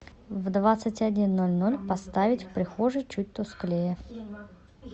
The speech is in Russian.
в двадцать один ноль ноль поставить в прихожей чуть тусклее